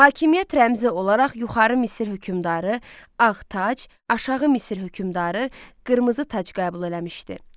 Hakimiyyət rəmzi olaraq yuxarı Misir hökmdarı ağ tac, aşağı Misir hökmdarı qırmızı tac qəbul eləmişdi.